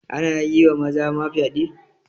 Ana yi wa maza ma fyaɗe